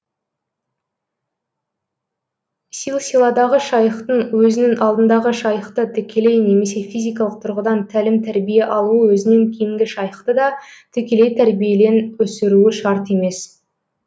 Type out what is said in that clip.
силсиладағы шайхтың өзінің алдындағы шайхты тікелей немесе физикалық тұрғыдан тәлім тәрбие алуы өзінен кейінгі шайхты да тікелей тәрбиелен өсіруі шарт емес